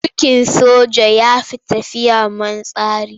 Mulkin soja ya fi tafiya man tsari.